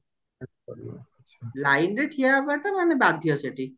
lineରେ ଠିଆ ହବ ଟା ମାନେ ବାଧ୍ୟ ସେଠି